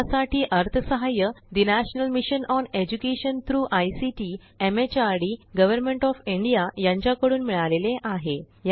यासाठी अर्थसहाय्य national mission on education through ICT MHRD government of India यांच्याकडून मिळालेले आहे